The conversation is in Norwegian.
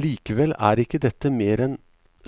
Likevel er ikke dette mer enn